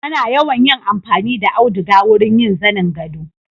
Ana yawan yin amfani da auduga wurin yin zanin gado.